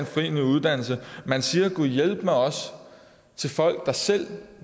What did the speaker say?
en ny uddannelse men siger gudhjælpemig også til folk der selv